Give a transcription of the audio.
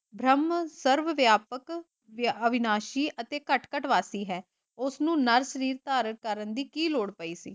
ਭ੍ਰਮ ਸਰਵ ਵਿਆਪਕ ਤੇ ਅਵਿਨਾਸ਼ੀ ਅਤੇ ਘੱਟ - ਘੱਟ ਵਾਤੀ ਹੈ। ਉਸਨੂੰ ਨਰਕ ਸ਼ਰੀਰ ਧਾਰਨ ਕਰਨ ਦੀ ਕੀ ਲੋੜ ਪਈ ਸੀ।